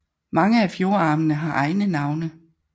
Mange af fjordarmene har egne navne